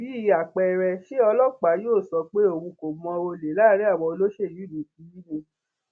bíi àpẹẹrẹ ṣé ọlọpàá yóò sọ pé òun kò mọ olè láàrin àwọn olóṣèlú yìí ni